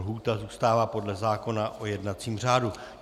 Lhůta zůstává podle zákona o jednacím řádu.